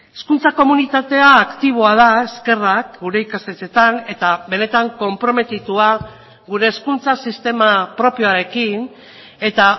hezkuntza komunitatea aktiboa da eskerrak gure ikastetxeetan eta benetan konprometitua gure hezkuntza sistema propioarekin eta